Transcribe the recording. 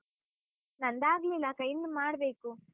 ನಂದಾಗ್ಲಿಲ್ಲಕ್ಕ, ಇನ್ನು ಮಾಡ್ಬೇಕು.